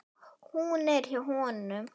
Hún er hjá honum.